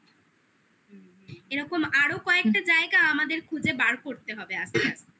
এরকম আরো কয়েকটা জায়গা আমাদের খুঁজে বার করতে হবে আস্তে আস্তে